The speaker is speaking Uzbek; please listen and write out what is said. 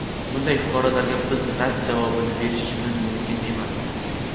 bunday fuqarolarga biz rad javobini berishimiz mumkin emas.